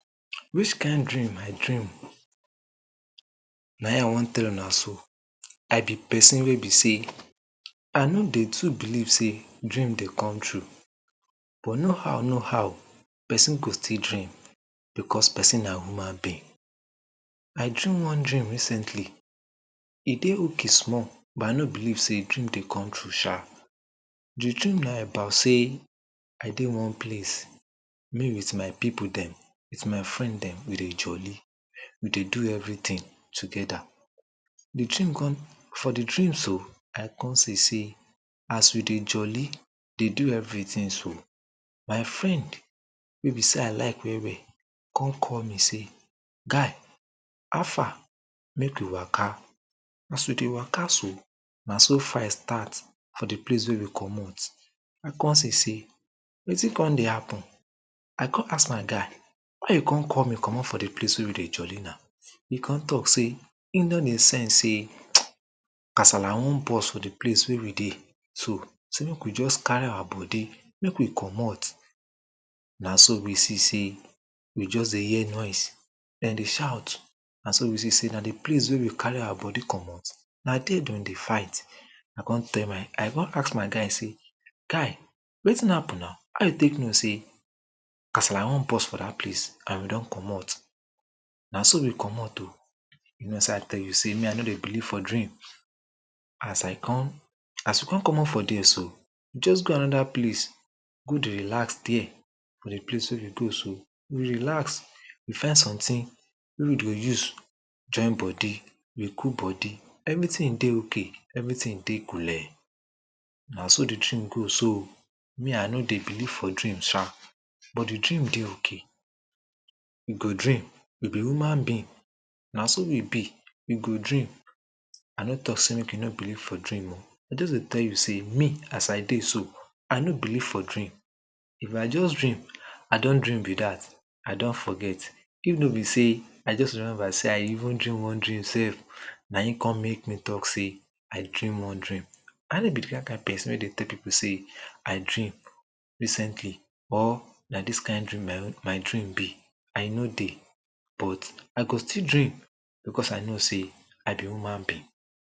Which kind dream I dream? na him I want tell una so I person wey be sey I no dey too believe sey dream dey come true but no how, no how person go still dream because person na human being I dream one dream recently e dey okay small but I no believe sey dream dey come true sha de dream na about sey I dey one place me wit my people dem wit my friend dem we dey jolly we dey do everytin togeda de dream come .for de dream so, I come see sey as we dey jolly dey do everytin so, my friend wey be sey I like well well come call me say "Guy," how far? make we waka as we dey waka so, na so fight start for de place wey we comot we come see sey wetin come dey happen? I come ask my guy why you come call me comot for de place wey we dey jolly na? he come talk sey him don dey sense sey kasala want burst for de place wey we dey. say make we just carry our body make we comot na so we see sey we just dey hear noise dem dey shout na so we see sey na de place wey we carry our body come na dey dem dey fight I come ask my guy sey guy wetin happen na? how you take know sey kasala want burst for dat place and we don comot na so we comot o you know sey i tell you sey me I no dey believe for dream as I come as we come comot for dey so we just go anoda place go dey relax dey for de place wey we go so, we relax we find sometin wey we dey use join body we cool body everytin dey okay, everytin dey coole na so de dream go so me I no dey beleive for dream sha but de dream dey okay we go dream we be human being na so we be we go dream I no talk sey make you no believe for dream I just dey tell you sey, me as I dey so I no believe for dream if I just dream I don dream be dat I don forget if no be sey I just remember sey I even dream one dream sef na him come make me talk sey make dream no dream I no be dat kind person wey dey tell people sey I dream recently or na dis kind dream my dream be I no dey but I go still dream because I know sey I be human being.